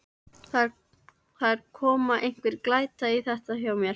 Það er að koma einhver glæta í þetta hjá mér.